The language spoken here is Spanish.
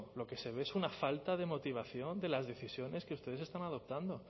lo que se ve es una falta de motivación de las decisiones que ustedes están adoptando